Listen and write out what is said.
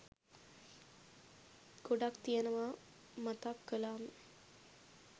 ගොඩක් තියෙනවා මතක් කලාම